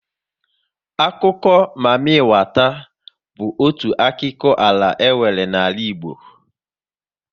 Akụkọ mami wata bụ otu akiko ala e nwere n'ala Igbo *